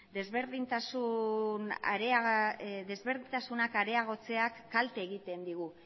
desberdintasunak areagotzeak kalte egiten digu